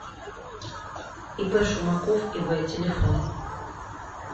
ип шумаков ив телефон